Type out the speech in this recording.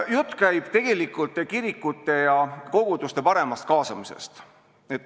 Jutt käib kirikute ja koguduste paremast kaasamisest.